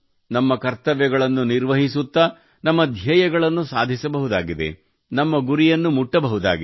ನಮ್ಮ ಕರ್ತವ್ಯಗಳನ್ನು ನಿರ್ವಹಿಸುತ್ತಾ ನಮ್ಮ ಧ್ಯೇಯಗಳನ್ನು ಸಾಧಿಸಬಹುದಾಗಿದೆ ನಮ್ಮ ಗುರಿಯನ್ನು ಮುಟ್ಟಬಹುದಾಗಿದೆ